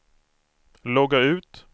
logga ut